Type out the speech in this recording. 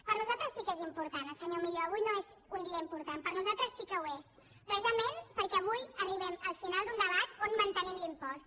per nosaltres sí que és important per al senyor millo avui no és un dia important per nosaltres sí que ho és precisament perquè avui arribem al final d’un debat on mantenim l’impost